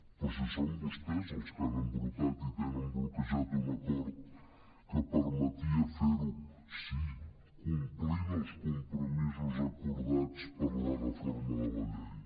però si són vostès els que han embrutat i tenen bloquejat un acord que permetia fer ho sí complint els compromisos acordats per la reforma de la llei